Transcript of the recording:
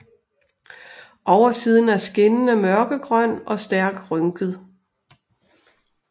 Oversiden er skinnende mørkegrøn og stærkt rynket